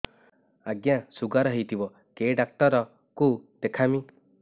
ଆଜ୍ଞା ଶୁଗାର ହେଇଥିବ କେ ଡାକ୍ତର କୁ ଦେଖାମି